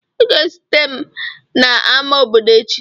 Ị ga-ezute m n'ámá obodo echi!